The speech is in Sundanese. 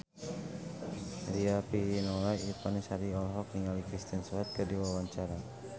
Riafinola Ifani Sari olohok ningali Kristen Stewart keur diwawancara